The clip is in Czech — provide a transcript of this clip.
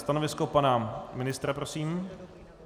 Stanovisko pana ministra prosím?